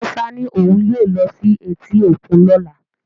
Musa ní òun yóò lọ sí etí òkun lọ́la